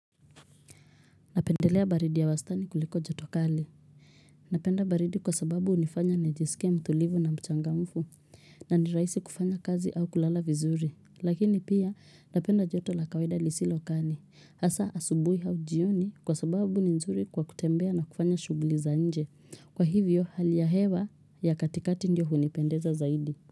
Napendelea baridi ya wastani kuliko jotokali. Napenda baridi kwa sababu hunifanya nijisikie mtulivu na mchangamfu na nirahisi kufanya kazi au kulala vizuri. Lakini pia napenda joto la kawaida lisilo kali Hasa asubui au jioni kwa sababu ni nzuri kwa kutembea na kufanya shughuli za nje. Kwa hivyo hali ya hewa ya katikati ndio hunipendeza zaidi.